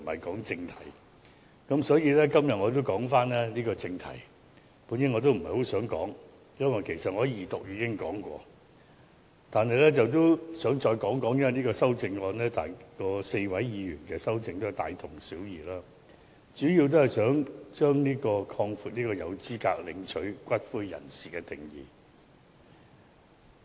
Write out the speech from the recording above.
對於今天的議題，我本來不想發言，因為我在二讀時已發言，但現在也想再說說，因為4位議員的修正案內容大同小異，主要是想擴闊合資格領取骨灰的人士的定義。